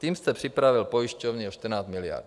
Tím jste připravil pojišťovny o 14 miliard.